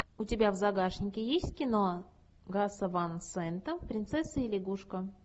у тебя в загашнике есть кино гаса ван сента принцесса и лягушка